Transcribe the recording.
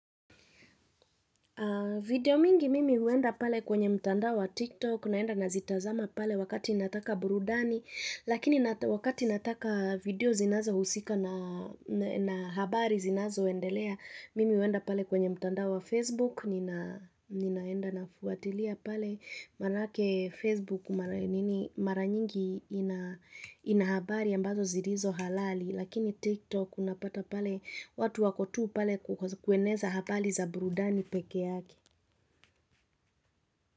Video mingi mimi huenda pale kwenye mtanda wa tiktok, naenda nazitazama pale wakati inataka burudani, lakini wakati inataka video zinazohusika na habari zinazoendelea, mimi huenda pale kwenye mtandao wa facebook, ninaenda nafuatilia pale marake facebook mara nyingi ina habari ambazo zilizo halali, Lakini TikTok unapata pale watu wako tu pale kukweneza habari za burudani pekee yake.